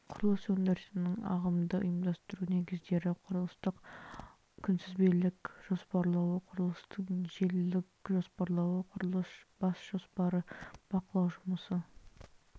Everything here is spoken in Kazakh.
құрылыс өндірісінің ағымды ұйымдастыру негіздері құрылыстың күнтізбелік жоспарлауы құрылыстың желілік жоспарлауы құрылыс бас жоспары бақылау жұмысы